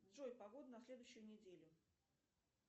джой погоду на следующую неделю